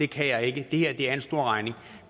kan jeg ikke det her er en stor regning